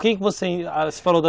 Com quem você falou